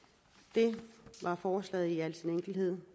det var forslaget i al sin enkelhed